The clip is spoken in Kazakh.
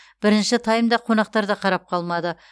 бірінші таймда қонақтар да қарап қалмады